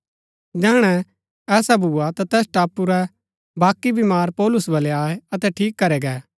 जैहणै ऐसा भुआ ता तैस टापू रै बाकी बीमार पौलुस बलै आये अतै ठीक करै गै